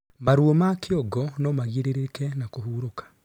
Maruo ma kĩongo na magiririke na kũhũrũka